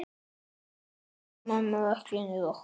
Elsku amma okkar rokk.